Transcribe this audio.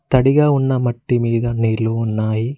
తడిగా ఉన్న మట్టి మీద నీళ్లు ఉన్నాయి.